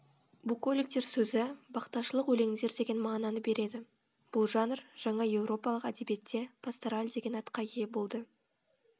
буколиктер сөзі бақташылық өлеңдер деген мағынаны береді бұл жанр жаңаеуропалық әдебиетте пастораль деген атқа ие болды